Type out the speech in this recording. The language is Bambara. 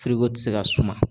tɛ se ka suma.